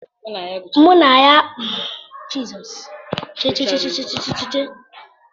Mụ na ya kparịtara ụka na Wassapụ ụnyahụ